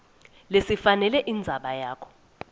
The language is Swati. lesifanele indzaba yakho